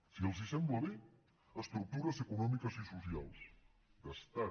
si els sembla bé estructures econòmiques i socials d’estat